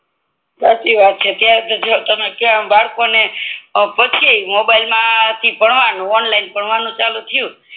સાચી વાત છે આમ તમે બરકો ને મોબાઈલ માંથી ભણવા નું ઓનલાઇન ભણવાનું ચાલુ થયું